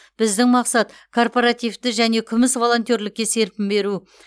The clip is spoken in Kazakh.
біздің мақсат корпоративті және күміс волонтерлікке серпін беру